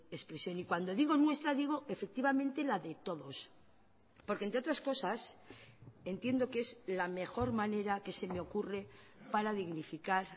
expresión y cuando digo nuestra digo efectivamente la de todos porque entre otras cosas entiendo que es la mejor manera que se me ocurre para dignificar